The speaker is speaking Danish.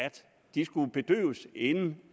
de skulle bedøves inden